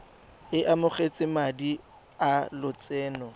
o amogetse madi a lotseno